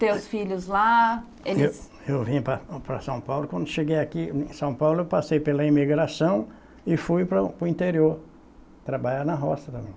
Teus filhos lá, eles... Eu eu vim para para São Paulo, quando cheguei aqui em São Paulo, eu passei pela imigração e fui para o interior, trabalhar na roça também.